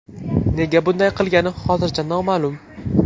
Nega bunday qilgani hozircha noma’lum.